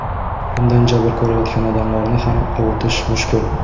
Bundan jabr ko‘rayotgan odamlarni ham ovutish mushkul.